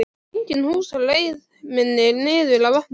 Engin hús á leið minni niður að vatninu.